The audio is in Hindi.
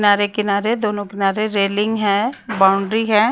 किनारे किनारे दोनों किनारे रेलिंग है बाउंड्री है।